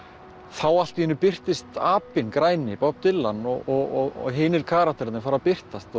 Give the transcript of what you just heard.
þá allt í einu birtist apinn græni Bob Dylan og hinir karakterarnir fóru að birtast